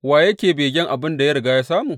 Wa yake begen abin da ya riga ya samu?